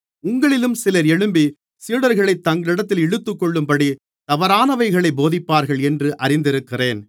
உங்களிலும் சிலர் எழும்பி சீடர்களைத் தங்களிடத்தில் இழுத்துக்கொள்ளும்படி தவறானவைகளைப் போதிப்பார்கள் என்று அறிந்திருக்கிறேன்